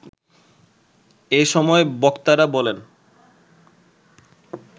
এ সময় বক্তারা বলেন